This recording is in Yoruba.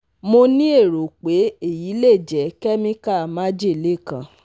Mo ni ero pe eyi le je chemical majele kan